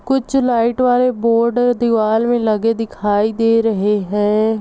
कुछ लाइट वाले बोर्ड दीवाल में लगे दिखाई दे रहे हैं।